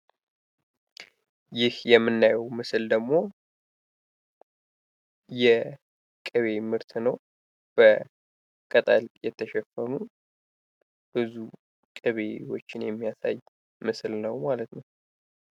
ይህ የምናየው ምስል ደግሞ የቅቤ ምርት ነው። በቅጠል የተሸፈኑ ብዙ ቅቤዎችን የሚያሳይ ምስል ነው ማለት ነው።